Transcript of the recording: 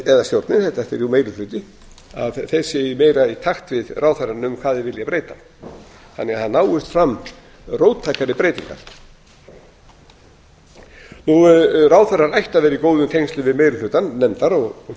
eða stjórnin þetta er jú meiri hluti að þeir séu meira í takt við ráðherrann um hverju þeir vilja breyta þannig að það náist fram róttækari breytingar ráðherrann ætti að vera í góðum tengslum við meiri hluta nefndar og